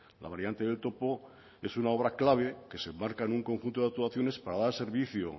la variante del topo es una obra clave que se enmarca en un conjunto de actuaciones para dar servicio